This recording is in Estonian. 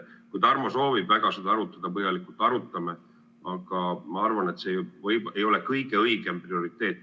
Kui Tarmo soovib väga seda põhjalikult arutada, siis arutame, aga ma arvan, et see ei ole praegu rahvaesindusele kõige õigem prioriteet.